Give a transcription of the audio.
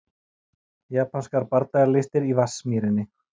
Japanskar bardagalistir í Vatnsmýrinni